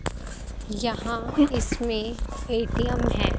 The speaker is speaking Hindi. यहां इसमें ए_टी_एम है।